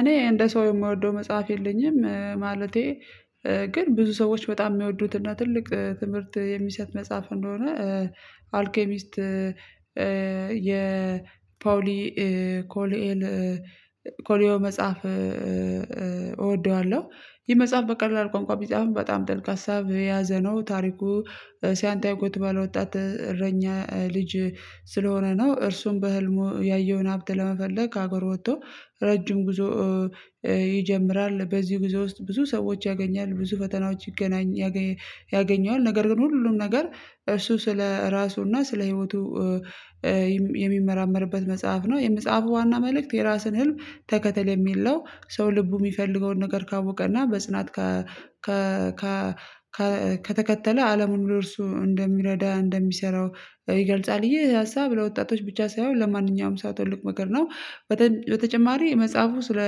እኔ እንደ ሰው የምወደው መጽሐፍ የለኝም። ማለቴ ግን ብዙ ሰዎች በጣም የሚወዱትና ትልቅ ትምህርት የሚሰጥ መጽሐፍ እንደሆነ አልኬሚስት የፓውሊ ኮሊኤል ኮሊዮ መጽሐፍ እወደዋለሁ። ይህ መጽሐፍ በቀላል ቋንቋ ቢጻፍም በጣም ጥልቅቅ ሀሳብ የያዘ ነው። ታሪኩ ሳንዲያጎ የተባለ ባለወጣት እረኛ ልጅ ስለሆነ ነው። እርሱም በህልሙ ያየውን ሀብት ለመፈለግ ከአገር ወጥቶ ረጅም ጉዞ ይጀምራል። በዚህ ጉዞ ውስጥ ብዙ ሰዎች ያገኛል ብዙ ፈተናዎች ይገናኝ ያገኘዋል ነገር ግን ሁሉም ነገር እሱ ስለራሱና እና ስለ ህይወቱ የሚመራመርበት መጽሐፍ ነው። የመጽሐፉ ዋና መልእክት የራስን ህልም ተከተል የሚለው ሰው ልቡ የሚፈልገውን ነገር ካወቀና በጽናት ከ ከ ከ ከ ከተከተለ አለሙን ብሎ እርሱ እንደሚረዳ እንደሚሰራው ይገልጻል። ይህ ሀሳብ ለወጣቶች ብቻ ሳይሆን ለማንኛውም ሰው ትልቁ ነገር ነው። በተጨማሪ መጽሐፉ ስለ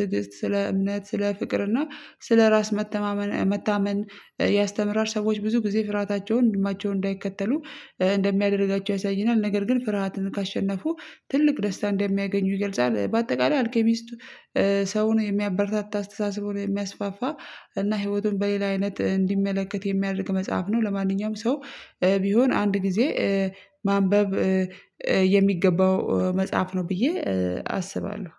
ትዕግስት ስለ እምነት ስለ ፍቅር እና ስለ ራስ መተማመን መታመን ያስተምራል። ሰዎች ብዙ ጊዜ ፍርሃታቸውን ህልማቸውን እንዳይከተሉ እንደሚያደርጋቸው ያሳየናል ነገር ግን ፍርሃትን ካሸነፉ ትልቅ ደስታ እንደሚያገኙ ይገልጻል። በአጠቃላይ አልኬሚስቱ ሰውን የሚያበረታታ አስተሳሰቡን የሚያስፋፋ እና ህይወቱን በሌላ አይነት እንዲመለከት የሚያደርግ መጽሐፍ ነው። ለማንኛውም ሰው ቢሆን አንድ ጊዜ ማንበብ የሚገባው መጽሐፍ ነው። ብዬ አስባለሁ